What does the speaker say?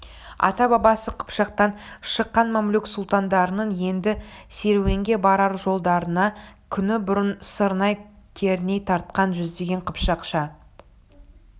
ата-бабасы қыпшақтан шыққан мамлюк сұлтандарының енді серуенге барар жолдарына күні бұрын сырнай керней тартқан жүздеген қыпшақша